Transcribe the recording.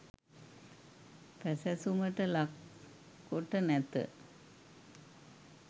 පැසැසුමට ලක් කොට නැත.